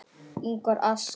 Ingvar asks.